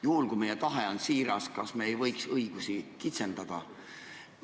Juhul, kui meie tahe on siiras, kas me ei võiks õigusi kitsendada?